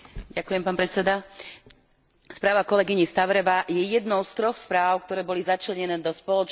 Správa kolegyne Stavrevovej je jednou z troch správ, ktoré boli začlenené do spoločného balíčka 5 miliárd EUR.